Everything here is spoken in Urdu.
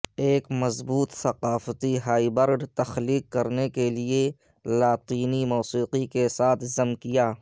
ایک مضبوط ثقافتی ہائبرڈ تخلیق کرنے کے لئے لاطینی موسیقی کے ساتھ ضم کیا